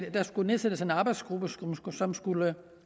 at der skulle nedsættes en arbejdsgruppe som skulle